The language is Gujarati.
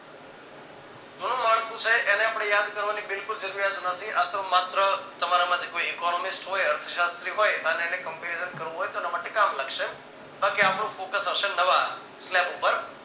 જૂનું માળખું છે એને આપણે યાદ કરવાની બિલકુલ જરૂરિયાત નથી આ તો માત્ર તમારા માટે કોઈ economics હોય અર્થશાસ્ત્રી હોય અને એને comparison કરવું હોય તો એના માટે કામ લાગશે બાકી આપણું focus હશે નવા slep ઉપર